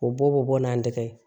O bɔ bɛ bɔ n'an tɛgɛ ye